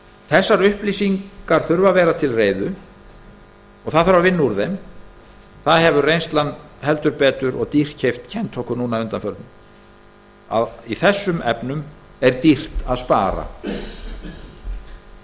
þessar upplýsingar þurfa að vera til reiðu og það þarf að vinna úr þeim það hefur reynslan heldur betur og dýrkeypt kennt okkur að undanförnu að í þessum efnum er dýrt að spara